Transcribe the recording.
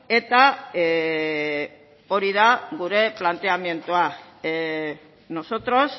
eta hori da gure planteamendua nosotros